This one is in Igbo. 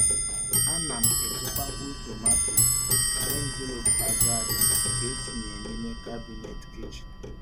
Ana m echekwa mkpụrụ tomato n’envelopu aja aja nke etinyere n’ime kabinet kichin.